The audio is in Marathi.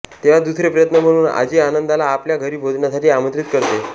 तेव्हा दुसरे प्रयत्न म्हणून आजी आनंदाला आपल्या घरी भोजनासाठी आमंत्रित करते